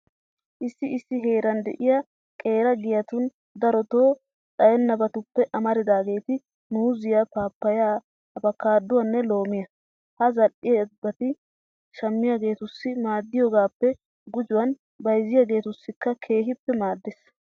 Issi issi heeran de'iya qeera giyatun darotoo xayennabatuppe amaridaageeti muuziya, paappayyiya abukaaduwanne loomiya. Ha zal"ettiyabati shammiyageetussi maddiyogaappe gujuwan bayzziyageetussikka keehippe maaddees.